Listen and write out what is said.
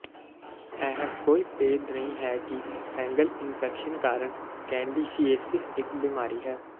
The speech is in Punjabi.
ਇਹ ਕੋਈ ਭੇਦ ਨਹੀਂ ਹੈ ਕਿ ਫੈਂਗਲ ਇਨਫੈਕਸ਼ਨ ਕਾਰਨ ਕੈਂਡੀਸ਼ੀਏਸਿਸ ਇੱਕ ਬਿਮਾਰੀ ਹੈ